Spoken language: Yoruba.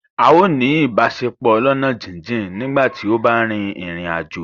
A ó ní ìbáṣepọ̀ ọlọ́ná jíjìn nígbà tí ó bá rin ìrìn àjò